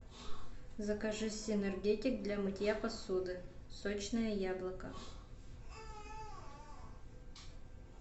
закажи синергетик для мытья посуды сочное яблоко